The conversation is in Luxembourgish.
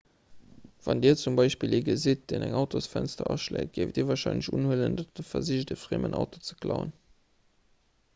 wann dir zum beispill ee gesitt deen eng autosfënster aschléit géift dir warscheinlech unhuelen datt e versicht e friemen auto ze klauen